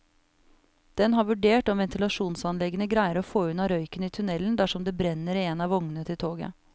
Den har vurdert om ventilasjonsanleggene greier å få unna røyken i tunnelen dersom det brenner i en av vognene til toget.